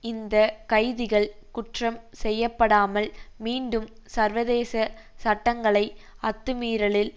இந்த கைதிகள் குற்றம் செய்யப்படாமல் மீண்டும் சர்வதேச சட்டங்களை அத்துமீறலில்